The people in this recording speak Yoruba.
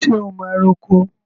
So máa ro oko?